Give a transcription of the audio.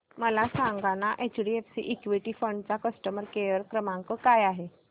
मला सांगाना HDFC equity fund चा कस्टमर केअर क्रमांक काय आहे